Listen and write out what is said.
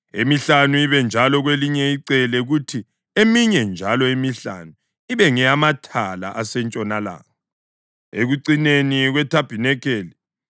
emihlanu ibe njalo kwelinye icele, kuthi eminye njalo emihlanu ibe ngeyamathala asentshonalanga, ekucineni kwethabanikeli.